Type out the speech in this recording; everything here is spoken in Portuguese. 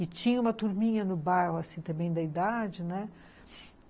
E tinha uma turminha no bairro, assim, também da idade, né?